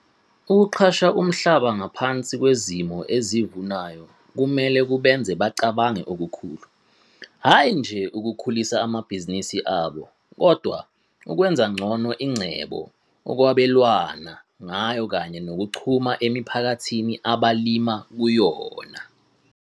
Ukuqasha umhlaba ngaphansi kwezimo ezivunayo kumele kubenze bacabange okukhulu, hhayi nje ukukhulisa amabhizinisi abo kodwa ukwenza ngcono ingcebo okwabelwana ngayo kanye nokuchuma emiphakathini abalima kuyona.